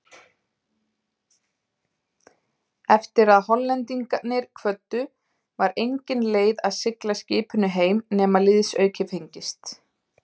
Eftir að Hollendingarnir kvöddu, var engin leið að sigla skipinu heim nema liðsauki fengist.